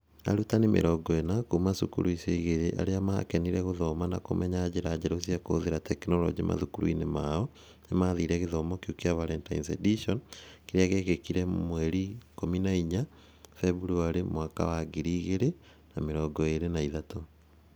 Arutani 40 kuuma cukuru icio igĩrĩ arĩa maakenire gũthoma na kũmenya njĩra njerũ cia kũhũthĩra tekinoronjĩ mathukuru-inĩ mao nĩ maathire gĩthomo kĩu kĩa Valentine's Edition, kĩrĩa gĩekĩkire 14 Feb 2023.